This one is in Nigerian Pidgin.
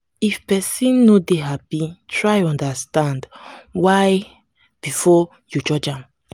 if pesin no dey happy try understand why before you judge am.